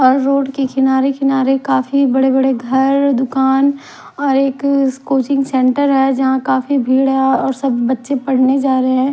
और रोड के किनारे किनारे काफी बड़े बड़े घर दुकान और एक कोचिंग सेंटर है जहां काफी भीड़ है और सब बच्चे पढ़ने जा रहे हैं।